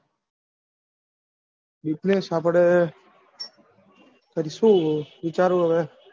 business આપડે કરશું વિચારું હવે?